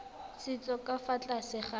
setso ka fa tlase ga